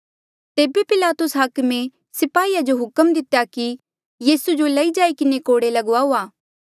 तेबे पिलातुस हाकमे स्पाहीया जो हुक्म दितेया कि यीसू जो लई जाई किन्हें कोड़े लगाऊआ